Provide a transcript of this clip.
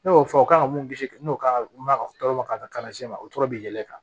Ne y'o fɔ o kan ka mun kisi n'o kan ka mɛn ka tɔɔrɔ o tɔɔrɔ bɛ yɛlɛ kan